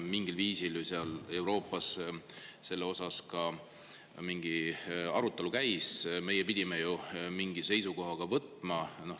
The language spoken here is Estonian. Mingil moel seal Euroopas see arutelu käis ja me pidime ju seisukoha võtma.